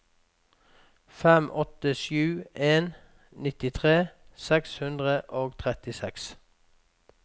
fem åtte sju en nittitre seks hundre og trettiseks